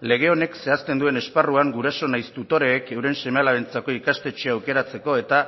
lege honek zehazten duen esparruan guraso nahiz tutoreek euren seme alabentzako ikastetxea aukeratzeko eta